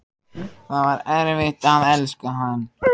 Og það var erfitt að elska hann.